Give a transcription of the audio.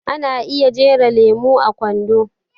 Ana iya jera lemo a kwando